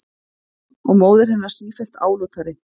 Og móðir hennar sífellt álútari.